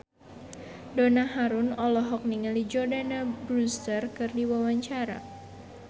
Donna Harun olohok ningali Jordana Brewster keur diwawancara